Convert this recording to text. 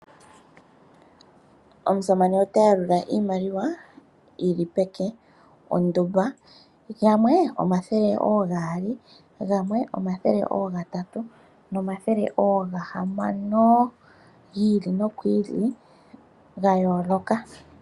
Omusamane ota yalula iimaliwa yi li peke ondumba gamwe omathele ogaali, gamwe omathele ogatatu nagamwe omathele ga hamano gi ili nogiili